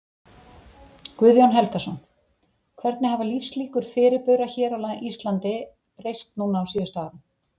Guðjón Helgason: Hvernig hafa lífslíkur fyrirbura hér á Íslandi breyst núna á síðustu árum?